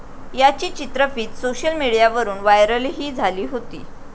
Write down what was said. याची चित्रफीत सोशल मिडियावरून व्हायरलही झाली होती.